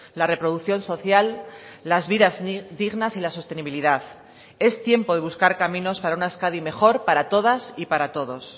la reproducción social las vidas dignas y la sostenibilidad es tiempo de buscar caminos para una euskadi mejor para todas y para todos